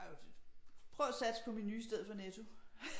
Prøv at satse på Meny istedet for Netto